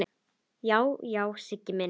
Já, já, Siggi minn.